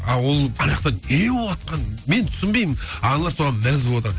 а ол аняқта не болыватқанын мен түсінбеймін ал аналар соған мәз боватыр